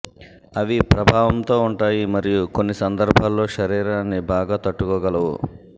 అవి ప్రభావంతో ఉంటాయి మరియు కొన్ని సందర్భాల్లో శరీరాన్ని బాగా తట్టుకోగలవు